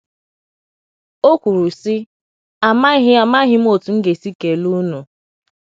O kwuru, sị; “ Amaghị Amaghị m otú m ga - esi kelee ụnụ.